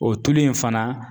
O tulu in fana